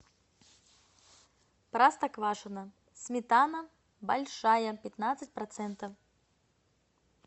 простоквашино сметана большая пятнадцать процентов